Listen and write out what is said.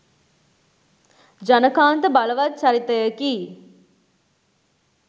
ජනකාන්ත බලවත් චරිතයකි